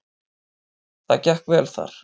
Það gekk vel þar.